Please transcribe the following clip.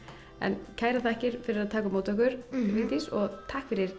kærar þakkir fyrir að taka á móti okkur Vigdís og takk fyrir þetta